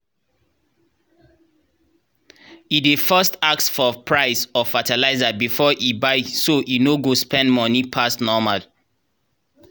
e dey first ask for price of fertilizer before e buy so e no go spend money pass normal.